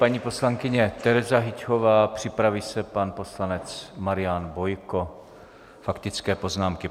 Paní poslankyně Tereza Hyťhová, připraví se pan poslanec Marian Bojko, faktické poznámky.